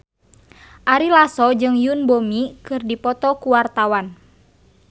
Ari Lasso jeung Yoon Bomi keur dipoto ku wartawan